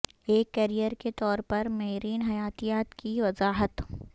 ایک کیریئر کے طور پر میرین حیاتیات کی وضاحت